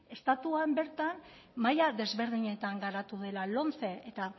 estatuan bertan maila desberdinetan garatu dela lomce eta